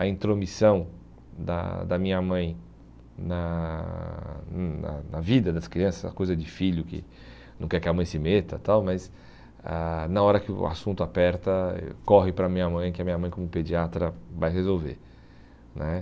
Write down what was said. a intromissão da da minha mãe na hum na na vida das crianças, a coisa de filho que não quer que a mãe se meta tal, mas ah na hora que o assunto aperta, corre para a minha mãe, que a minha mãe como pediatra vai resolver né.